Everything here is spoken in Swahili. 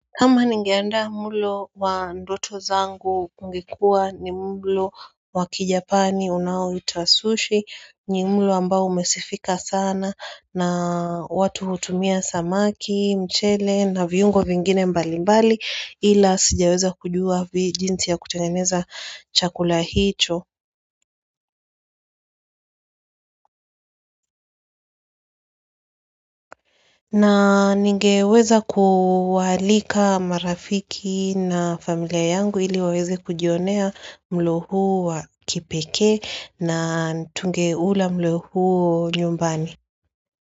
Kama ningeandaa mlo wa ndoto zangu ungekuwa ni mlo wakijapani unao itwa sushi ni mlo ambao umesifika sana na watu hutumia samaki, mchele na viungo vingine mbali mbali ila sijaweza kujua jinsi ya kutengeneza chakula hicho na ningeweza kuwaalika marafiki na familia yangu ili waweze kujionea mlo huu wa kipekee na tungeula mlo huo nyumbani.